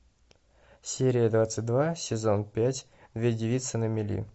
серия двадцать два сезон пять две девицы на мели